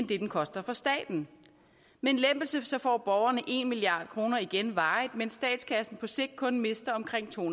det den koster for staten med en lempelse får borgerne en milliard kroner igen varigt mens statskassen på sigt kun mister omkring to